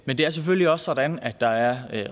men det er selvfølgelig også sådan at der er